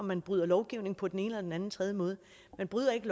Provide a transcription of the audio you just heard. man bryder lovgivningen på den ene eller den anden tredje måde man bryder ikke